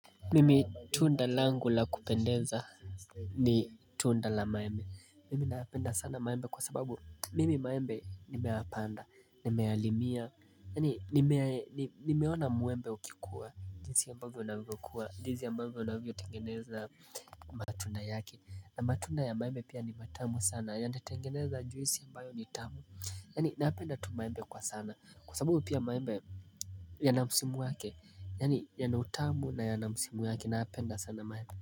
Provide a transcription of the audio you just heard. Mimi tunda langu la kupendeza ni tunda la maembe Mimi napenda sana maembe kwa sababu Mimi maembe nimepanda nimeyalimia Yaani nimeona mwembe ukikua jinsi ambavyo unavyokuwa jinsi ambavyo unavyotengeneza matunda yake na matunda ya maembe pia ni matamu sana yanatengeneza juisi ambayo ni tamu Yaani napenda tu maembe kwa sana Kwa sababu pia maembe yana msimu wake yaani yana utamu na yana msimu wake na napenda sana maembe.